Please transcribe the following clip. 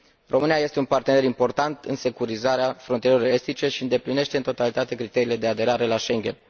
România este un partener important în securizarea frontierelor estice și îndeplinește în totalitate criteriile de aderare la Schengen.